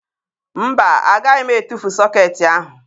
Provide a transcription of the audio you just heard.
Mba, agaghị m etufu sọkeetị ahụ